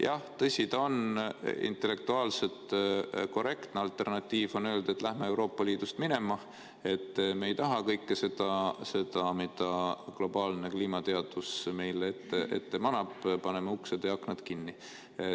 Jah, tõsi ta on, intellektuaalselt korrektne alternatiiv on öelda, et lähme Euroopa Liidust minema, et me ei taha kõike seda, mida globaalne kliimateadus meile ette manab, paneme uksed ja aknad kinni.